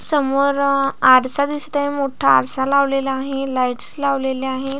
समोर अ आरसा दिसत आहे मोठा आरसा लावलेला आहे लाईटस लावलेली आहेत.